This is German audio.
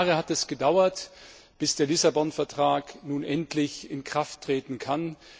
Sieben Jahre hat es gedauert, bis der Lissabon Vertrag nun endlich in Kraft treten kann